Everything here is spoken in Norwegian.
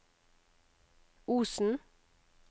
Osen